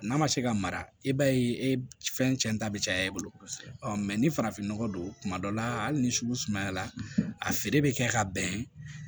N'a ma se ka mara i b'a ye fɛn cɛ ta bɛ caya i bolo kosɛbɛ ni farafinnɔgɔ don kuma dɔ la hali ni sugu sumayara a feere bɛ kɛ ka bɛn